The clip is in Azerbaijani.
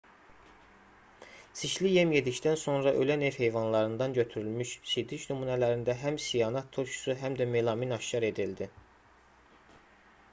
çirkli yem yedikdən sonra ölən ev heyvanlarından götürülmüş sidik nümunələrində həm sianat turşusu həm də melamin aşkar edildi